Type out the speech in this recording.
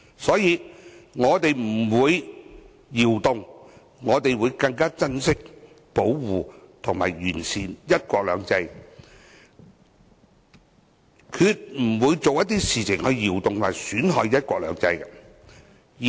所以，我們不會動搖，反而會更珍惜、保護和完善"一國兩制"，決不會做出一些動搖和損害"一國兩制"的事情。